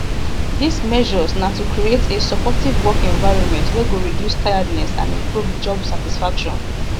dis measures na to create a supportive work environment wey go reduce tiredness and improve job satisfaction